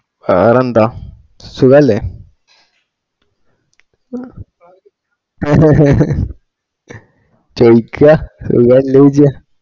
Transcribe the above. വേറെന്താ സുഖല്ല ചോയ്ക്ക സുഖല്ലേ ചോയ്ക്കാ